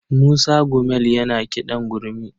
Musa Gumel yana kiɗan gurmi.